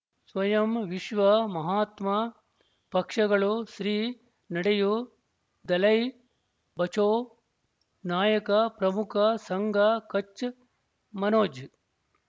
ಸ್ವಯಂ ವಿಶ್ವ ಮಹಾತ್ಮ ಪಕ್ಷಗಳು ಶ್ರೀ ನಡೆಯೂ ದಲೈ ಬಚೌ ನಾಯಕ ಪ್ರಮುಖ ಸಂಘ ಕಚ್ ಮನೋಜ್